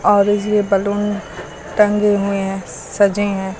और यीजे बैलून टंगे हुए हैं सजे हैं।